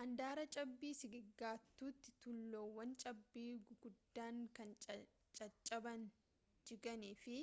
andaara cabbii sigigaatuutti tuullaawwan cabbii guguddaan kan caccaban jigan fi